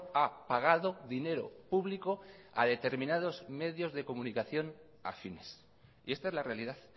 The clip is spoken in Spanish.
ha pagado dinero público a determinados medios de comunicación afines y esta es la realidad